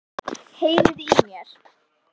Heyriði í mér?